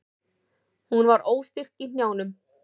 Hún varð óstyrk í hnjánum.